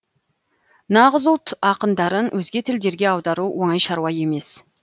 нағыз ұлт ақындарын өзге тілдерге аудару оңай шаруа емес